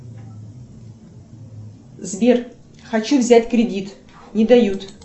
сбер хочу взять кредит не дают